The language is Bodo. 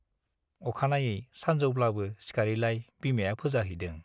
अखानायै सानजौब्लाबो सिखारैलाय बिमाया फोजाहैदों ।